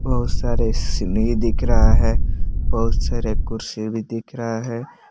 बहुत सारे सीढ़ी दिख रहा है बहुत सारे कुर्सी भी दिख रहा है।